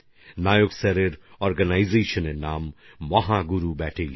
নায়ক স্যারের সংস্থার নাম মহাগুরু ব্যাটালিয়ন